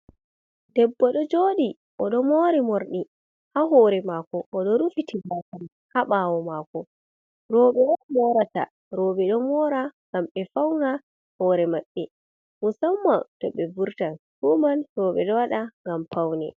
Debbo ɗo joɗi oɗo mori morɗi ha hore mako. odo rufiti gasa man ha ɓawo mako. Roɓe on morata. Roɓe ɗo mora ngam be fauna hore maɓɓe musamman to ɓe vurtan. Fuuman roɓe ɗo waɗa ngam paune.